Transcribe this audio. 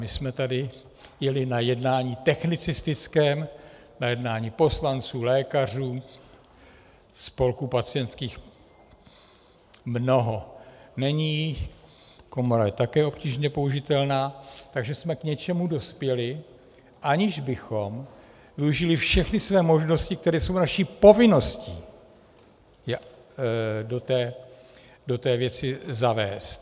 My jsme tady jeli na jednání technicistickém, na jednání poslanců, lékařů, spolků pacientských mnoho není, komora je také obtížně použitelná, takže jsme k něčemu dospěli, aniž bychom využili všechny své možnosti, které jsou naší povinností do té věci zavést.